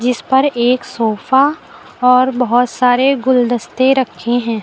इस पर एक सोफा और बहोत सारे गुलदस्ते रखे हैं।